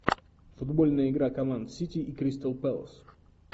футбольная игра команд сити и кристал пэлас